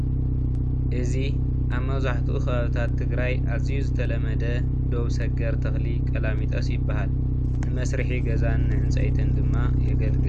እዙይ ኣብ መብዛሕቲኡ ከባብታት ትግራይ ኣዝዩ ዝተለመደ ዶብ ሰገር ተክሊ ቆላሚጠስ ይብሃል። ንመስርሕን ገዛን ንዕንፀይቲን ድማ የገልግል።